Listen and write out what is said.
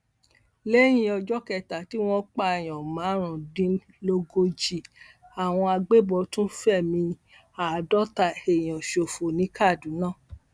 lẹyìn ọjọ kẹta tí wọn pààyàn márùndínlógójì àwọn agbébọn tún fẹmí àádọta èèyàn ṣòfò ní kaduna